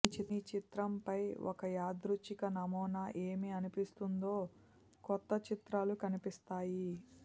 మీ చిత్రంపై ఒక యాదృచ్ఛిక నమూనా ఏమి అనిపిస్తుందో క్రొత్త చిత్రాలు కనిపిస్తాయి